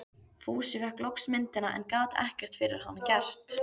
Fúsi fékk loks myndina, en gat ekkert fyrir hana gert.